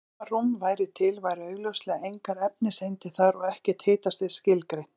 Ef algjört tómarúm væri til væru augljóslega engar efniseindir þar og ekkert hitastig skilgreint.